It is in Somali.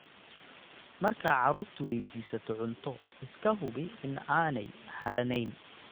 Marka carruurtu waydiisato cunto, iska hubi in aanay harranayn,